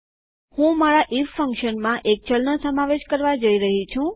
હું મારા ઇફ ફંક્શનમાં એક ચલનો સમાવેશ કરવા જઈ રહી છું